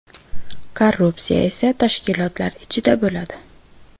Korrupsiya esa tashkilotlar ichida bo‘ladi.